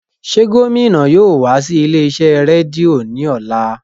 Ṣe gomina yóò wa si ile-iṣẹ redio ni ọla?